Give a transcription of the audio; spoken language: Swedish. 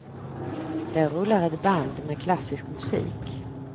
Där rullar ett band med klassisk musik.